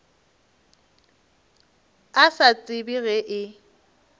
a sa tsebe ge e